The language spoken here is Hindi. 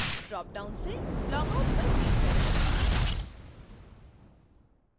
dropdown से log out पर click करें